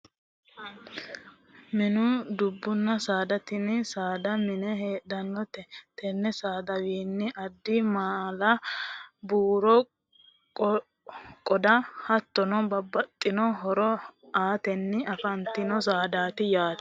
Mininna dubbu saada tini saada mine heedhannote tenne saadawiinni ado maala buuro qoda hattono babbaxxitino horo aatenni afantino saadaati yaate